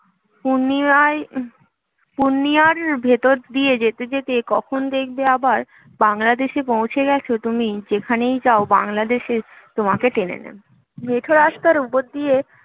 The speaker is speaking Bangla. পূর্ণিৎয়াই পূর্ণিৎয়ার ভেতর দিয়ে যেতে যেতে কখন দেখবে আবার বাংলাদেশে পৌঁছে গেছো তুমি যেখানেই যাও বাংলাদেশে তোমাকে টেনে নেবে মেঠো রাস্তার ওপর দিয়ে